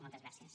moltes gràcies